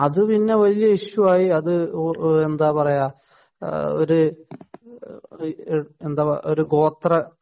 അത് പിന്നെ വല്യ ഇഷ്യൂ ആയി അത് എന്താ പറയാ അത് ഒരു ഗോത്ര